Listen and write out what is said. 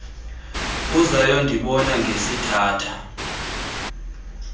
uzayo ndibona ngesithatha